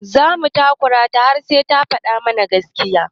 Za mu takura ta har sai ta faɗa mana gaskiya.